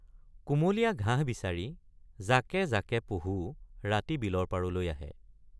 কুমলীয়া ঘাঁহ বিচাৰি জাকে জাকে পহু ৰাতি বিলৰ পাৰলৈ আহে।